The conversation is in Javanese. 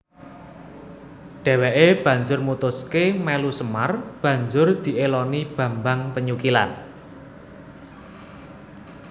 Dhèwèké banjur mutuské melu Semar banjur diéloni Bambang Penyukilan